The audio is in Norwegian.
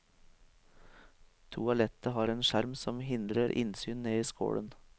Toalettet har en skjerm som hindrer innsyn ned i skålen.